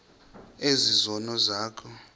ezi zono zakho